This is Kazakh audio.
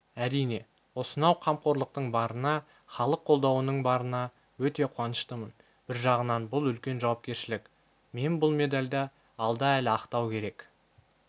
әрине осынау қамқорлықтың барына іалық қолдауының барына өте қуаныштымын бір жағынан бұл үлкен жауапкершілік мен бұл медальді алда әлі ақтау керек